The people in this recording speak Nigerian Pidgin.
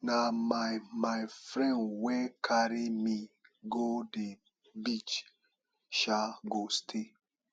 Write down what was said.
na my my friend wey carry me go the beach um go stay